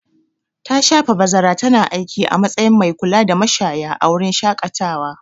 Ta shafe bazara tana aiki a matsayin mai kulada mashaya a wurin shaƙatawa.